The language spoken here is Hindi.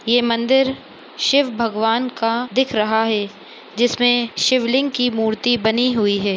ये मंदिर शिव भगवान का दिख रहा है जिसमे शिवलिंग की मूर्ति बनी हुई है।